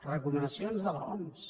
recomanacions de l’oms